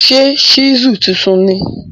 Ṣe ṣísù tuntun ni?